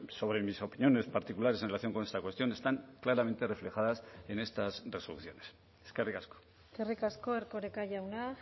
sobre mis opiniones particulares en relación con esta cuestión están claramente reflejadas en estas resoluciones eskerrik asko eskerrik asko erkoreka jauna